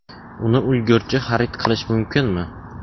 Uni ulgurji xarid qilish mumkinmi?